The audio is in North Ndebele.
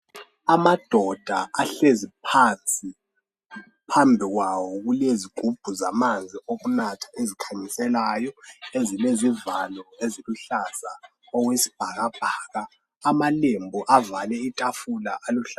amadoda ahlezi phansi phambi kwawo kulezigubhu zamanzi zokunatha ezikhanyiselayo ezilezivalo eziluhlaza okwesibhakabhaka amalembu avale itafula aluhlaza